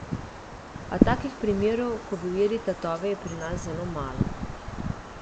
A takih primerov, ko bi ujeli tatove, je pri nas zelo malo.